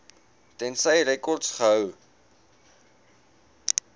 tensy rekords gehou